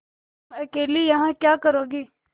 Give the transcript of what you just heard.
तुम अकेली यहाँ क्या करोगी